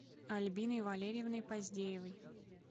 альбиной валерьевной поздеевой